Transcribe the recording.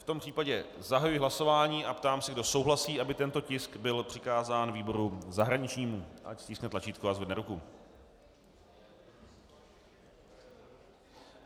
V tom případě zahajuji hlasování a ptám se, kdo souhlasí, aby tento tisk byl přikázán výboru zahraničnímu, ať stiskne tlačítko a zvedne ruku.